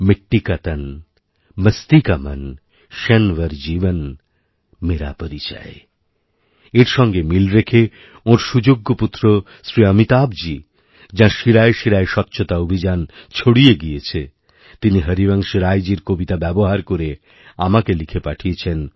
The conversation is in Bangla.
মিট্টি কা তন মস্তি কা মন ক্ষণভর জীবন মেরা পরিচয় এর সঙ্গে মিল রেখে ওঁর সুযোগ্য পুত্র শ্রী অমিতাভজী যাঁরশিরায় শিরায় স্বচ্ছতা অভিযান ছড়িয়ে গিয়েছে তিনি হরিবংশ রাইজীর কবিতা ব্যবহার করেআমাকে লিখে পাঠিয়েছেন